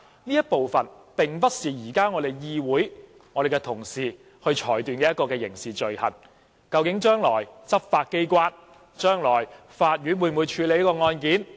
刑事罪行並不是可以由議會和議員來作出裁決的，究竟執法機構和法院將來會否處理這宗案件？